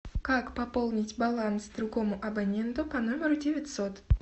как пополнить баланс другому абоненту по номеру девятьсот